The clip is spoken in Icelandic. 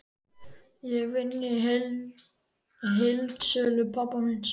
Ég vinn í heildsölu pabba míns.